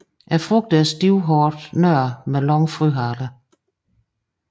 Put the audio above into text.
Frugterne er stivhårede nødder med lange frøhaler